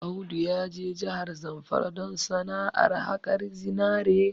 Audu ya je jahar Zamfara don sana'ar haƙar zinari